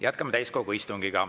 Jätkame täiskogu istungit.